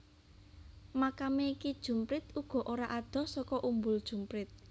Makame Ki Jumprit uga ora adoh saka Umbul Jumprit